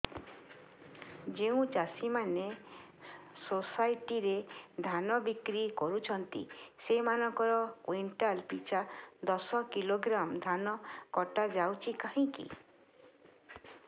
ଯେଉଁ ଚାଷୀ ମାନେ ସୋସାଇଟି ରେ ଧାନ ବିକ୍ରି କରୁଛନ୍ତି ସେମାନଙ୍କର କୁଇଣ୍ଟାଲ ପିଛା ଦଶ କିଲୋଗ୍ରାମ ଧାନ କଟା ଯାଉଛି କାହିଁକି